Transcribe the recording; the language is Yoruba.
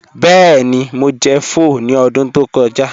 Bẹẹni, Mo jẹ̀ pho ni ọdún tó kọja